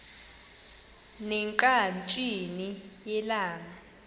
ne ngqatsini yelanga